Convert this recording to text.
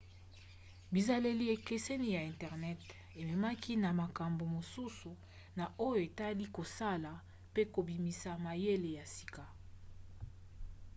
bizaleli ekeseni ya internet ememaki na makambo mosusu na oyo etali kosala pe kobimisa mayele ya sika